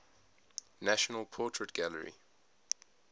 national portrait gallery